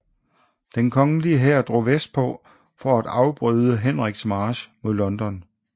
Den kongelige hær drog vestpå for at afbryde Henriks march mod London